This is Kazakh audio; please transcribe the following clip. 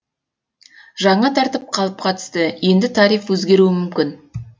жаңа тәртіп қалыпқа түсті енді тариф өзгеруі мүмкін